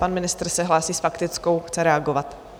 Pan ministr se hlásí s faktickou, chce reagovat.